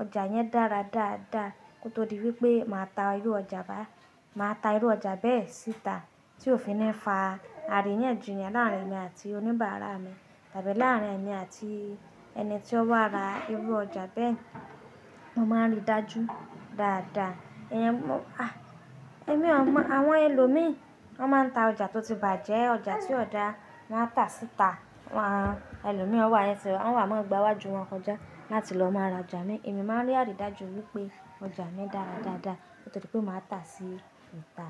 ọjà yẹn dára dáadáa nítorí wípé màá ta irú ọjà bá, màá ta irú ọjà bẹ́ẹ̀ síta tí ò fi ní fa àrí yẹn jù yẹn láàárín èmi àti oníbàárà mi tàbí láàárín èmi àti ẹni tí ó bá ra irú ọjà bẹ́ẹ̀. Mo máa ń rí dájú dáadáa. Ẹ̀yin mó, à, èmi à má, àwọn ẹlòmíràn wọ́n máa ń ta ọjà tó ti bàjẹ́, ọjà tí ò dá wọ́n á tà síta. Han, ẹlòmíràn o wà ses, wọ́n wà máa gba iwájú wọn kọjá láti lọ máa ra ọjà mi. Èmi máa ń rí àrí dájú wípé ọjà mi dára dáadáa nítorí pé màá tà á síta.